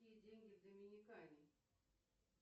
какие деньги в доминикане